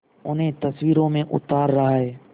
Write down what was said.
उन्हें तस्वीरों में उतार रहा है